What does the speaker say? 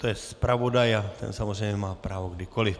To je zpravodaj a ten samozřejmě má právo kdykoli.